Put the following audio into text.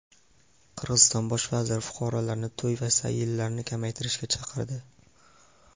Qirg‘iziston bosh vaziri fuqarolarni to‘y va sayillarni kamaytirishga chaqirdi.